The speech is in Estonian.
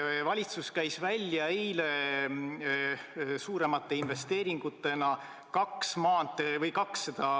Valitsus käis eile suuremate investeeringutena välja kaks maantee-ehitust.